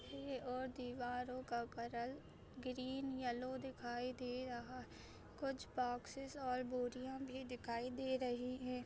यह और दिवारो का करल ग्रीन और येल्लो दिखाई दे रहा है कुछ बॉक्सेस और बोरिया दिखाई दे रही है।